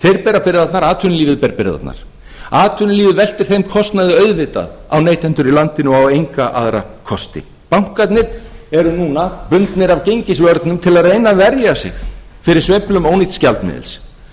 bera byrðarnar atvinnulífi ber byrðarnar atvinnulífið veltir þeim kostnaði auðvitað á neytendur í landinu og á enga aðra kosti bankarnir eru núna bundnir af gengisvörnum til að reyna að verja sig fyrir sveiflum ónýts gjaldmiðils